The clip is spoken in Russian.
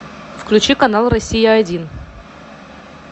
включи канал россия один